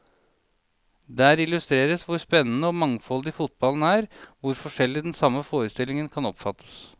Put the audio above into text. Der illustreres hvor spennende og mangfoldig fotballen er, hvor forskjellig den samme forestillingen kan oppfattes.